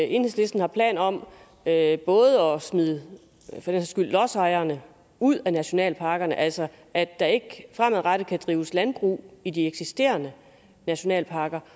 enhedslisten har planer om at smide lodsejerne ud af nationalparkerne altså at der ikke fremadrettet kan drives landbrug i de eksisterende nationalparker